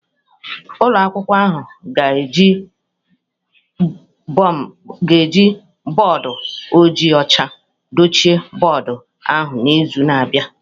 Ụlọ akwụkwọ ahụ ga-eji bọọdụ ojii ọcha dochie bọọdụ ahụ n'izu na-abịa